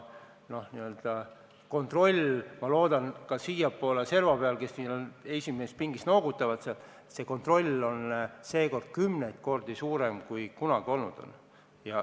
Ma loodan, et MES-is on praegu kontroll – näen, et esimeses pingis olijad noogutavad – kümneid kordi suurem, kui see kunagi olnud on.